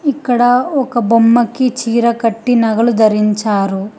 ఇక్కడ ఒక బొమ్మకి చీర కట్టి నగలు ధరించారు.